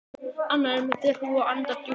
Annar er með derhúfu og hendur djúpt í vösum.